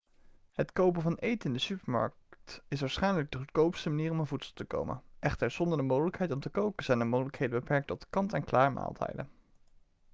het kopen van eten in de supermarkt is waarschijnlijk de goedkoopste manier om aan voedsel te komen echter zonder de mogelijkheid om te koken zijn de mogelijkheden beperkt tot kant-en-klaarmaaltijden